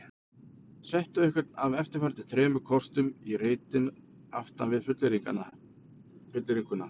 Settu einhvern af eftirfarandi þremur kostum í reitinn aftan við fullyrðinguna